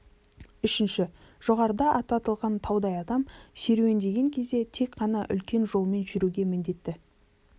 үшінші жоғарыда аты аталған таудай адам серуендеген кезде тек қана үлкен жолмен жүруге міндетті